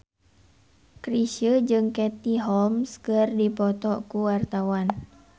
Chrisye jeung Katie Holmes keur dipoto ku wartawan